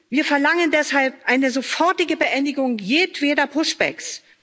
Wir verlangen deshalb eine sofortige Beendigung jedweder Push backs.